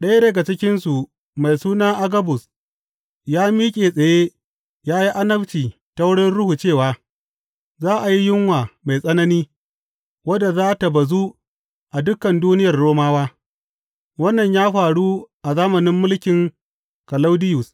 Ɗaya daga cikinsu mai suna Agabus, ya miƙe tsaye ya yi annabci ta wurin Ruhu cewa za a yi yunwa mai tsanani wadda za tă bazu a dukan duniyar Romawa Wannan ya faru a zamanin mulkin Kalaudiyus.